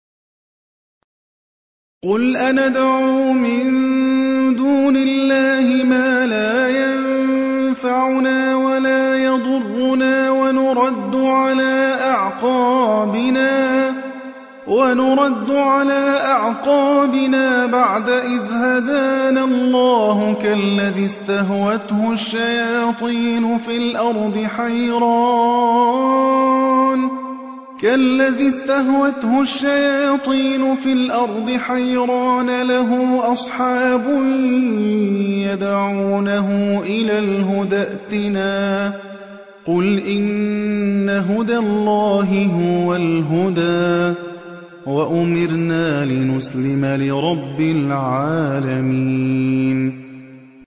قُلْ أَنَدْعُو مِن دُونِ اللَّهِ مَا لَا يَنفَعُنَا وَلَا يَضُرُّنَا وَنُرَدُّ عَلَىٰ أَعْقَابِنَا بَعْدَ إِذْ هَدَانَا اللَّهُ كَالَّذِي اسْتَهْوَتْهُ الشَّيَاطِينُ فِي الْأَرْضِ حَيْرَانَ لَهُ أَصْحَابٌ يَدْعُونَهُ إِلَى الْهُدَى ائْتِنَا ۗ قُلْ إِنَّ هُدَى اللَّهِ هُوَ الْهُدَىٰ ۖ وَأُمِرْنَا لِنُسْلِمَ لِرَبِّ الْعَالَمِينَ